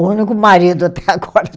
O único marido até agora